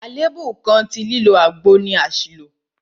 Àlèébú kan tí lílo àgbo ní ni àṣìlò.